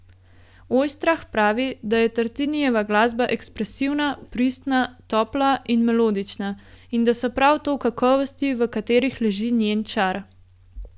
Ojstrah pravi, da je Tartinijeva glasba ekspresivna, pristna, topla in melodična, in da so prav to kakovosti, v katerih leži njen čar.